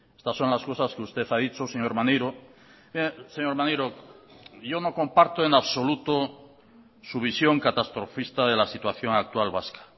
estas son las cosas que usted ha dicho señor maneiro señor maneiro yo no comparto en absoluto su visión catastrofista de la situación actual vasca